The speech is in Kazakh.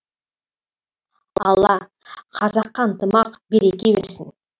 алла қазаққа ынтымақ береке берсін